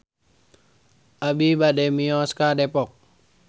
Abi bade mios ka Depok